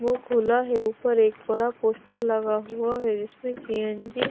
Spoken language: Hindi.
वो खुला है ऊपर एक बड़ा पोस्टर लगा हुआ है इसमें सी एन जी --